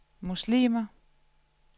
muslimer